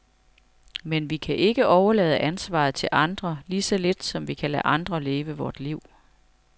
Men vi kan ikke overlade ansvaret til andre, lige så lidt som vi kan lade andre leve vort liv.